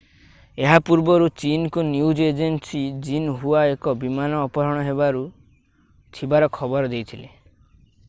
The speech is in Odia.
ଏହା ପୂର୍ବରୁ ଚୀନ୍ ନ୍ୟୁଜ୍ ଏଜେନ୍ସୀ ଜିନ୍‌ହୁଆ ଏକ ବିମାନ ଅପହରଣ ହେବାକୁ ଥିବାର ଖବର ଦେଇଥିଲା।